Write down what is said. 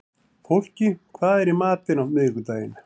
Fólki, hvað er í matinn á miðvikudaginn?